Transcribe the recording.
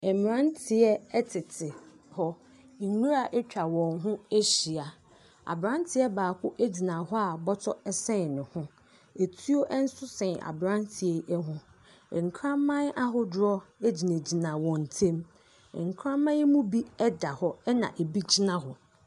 Mmeranteɛ tete hɔ, nwura atwa wɔn ho ahyia, aberanteɛ baako gyina hɔ a bɔtɔ sɛn ne ho, atuonso sɛn aberan teɛ yi ho, nkraman ahodoɔ gyinagyina wɔn ntamu. Nkraman yi mu da hɔ na bi gyina hɔ.